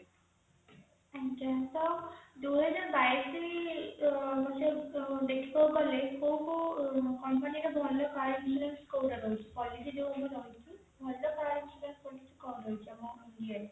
ଆଜ୍ଞା ତ ଦୁଇ ହଜାର ବାଈଶ କଲେ କୋଉ କୋଉ company ର ଭଲ price list କଉଟା ରହିଛି policy ଯୋଉମାନେ କରୁଛନ୍ତି ଭଲ price